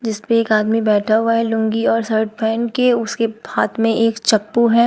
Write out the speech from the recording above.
इस पे एक आदमी बैठा हुआ है लुंगी और शर्ट पहेन के उसके हाथ में एक चप्पू है।